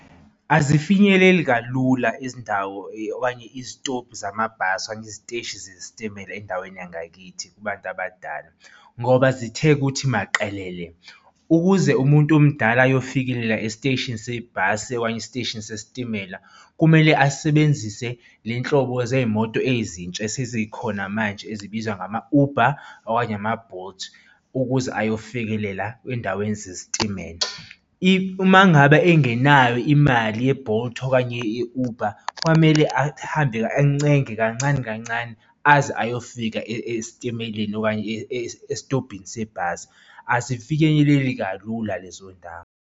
Azifinyeleli kalula izindawo okanye izitobhu zamabhasi okanye iziteshi zesitimela endaweni yangakithi kubantu abadala, ngoba zithe ukuthi maqelele. Ukuze umuntu omdala ayofikelela esiteshini sebhasi ekanye esiteshini sesitimela, kumele asebenzise le nhlobo zey'moto ezintsha esezikhona manje ezibizwa ngama-Uber okanye ama-Bolt ukuze ayofikelela ey'ndaweni zesitimela. Uma ngabe engenayo imali ye-Bolt, okanye ye-Uber, kwamele ahambeke encenga kancane kancane, aze ayofika esitimeleni okanye esitobhini sebhasi, asifinyeleleli kalula lezo y'ndawo.